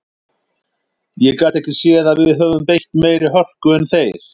Ég gat ekki séð að við höfum beitt meiri hörku en þeir.